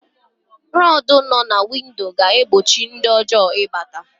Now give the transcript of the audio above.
Rọdụ nọ na windo ga-egbochi ndị ohi ị bata.